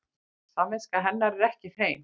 Samviska hennar er ekki hrein.